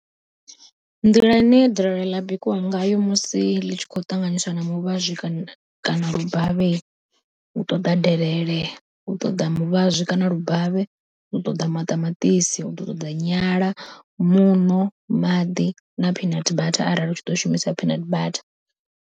Nḓila ine delele ḽa bikiwa ngayo musi ḽi tshi kho ṱanganyiswa na muvhazwi kana lubavhe u ṱoḓa delele, u ṱoḓa muvhazwi kana lubavhe, u ṱoḓa maṱamaṱisi, u ḓo ṱoḓa nyala, muṋo, maḓi, na peanut butter arali u tshi ḓo shumisa peanut butter.